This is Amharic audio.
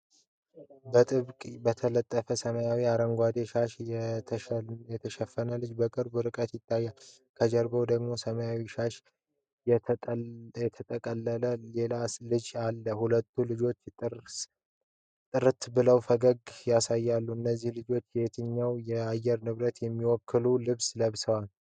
በጥብቅ በተጠለፈ ሰማያዊና አረንጓዴ ሻሽ የተሸፈነች ልጅ በቅርብ ርቀት ይታያል። ከጀርባዋ ደግሞ ሰማያዊ ሻሽ የተጠቀለለ ሌላ ልጅ አለ። ሁለቱም ልጆች ጥርት ብለው ፈገግታ ያሳያሉ። እነዚህ ልጆች የትኛውን የአየር ንብረት የሚወክል ልብስ ለብሰዋል?